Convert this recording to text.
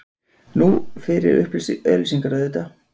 Nú, fyrir auglýsingar, auðvitað.